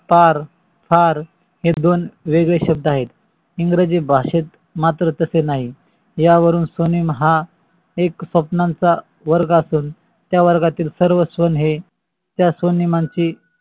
फार, हार, हे दोन वेगळे शब्द आहेत. english भाषेत मात्र तसे नाही. यावरून स्वनेम हा एक स्वपानांचं वर्ग असून त्या वर्गातील सर्व स्वन हे त्या स्व्नेमा चे